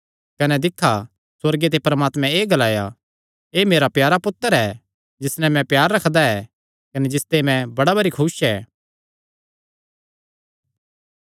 कने दिक्खा परमात्मैं सुअर्गे ते ग्लाया एह़ मेरा प्यारा पुत्तर ऐ जिस नैं मैं प्यार रखदा ऐ कने जिसते मैं बड़ा भरी खुस ऐ